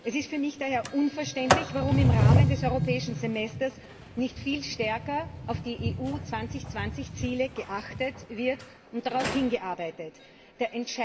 Es ist für mich daher unverständlich, warum im Rahmen des Europäischen Semesters nicht viel stärker auf die EU 2020 Ziele geachtet und darauf hingearbeitet wird.